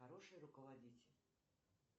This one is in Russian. хороший руководитель